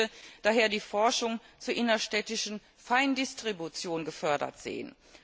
Ich möchte daher die Forschung zur innerstädtischen Feindistribution gefördert sehen.